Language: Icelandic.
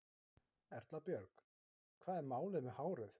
Erla Björg: Hvað er málið með hárið?